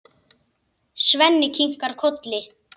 Svenni kinkar kolli.